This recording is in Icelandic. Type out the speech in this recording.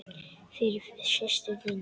Fyrir systur þína.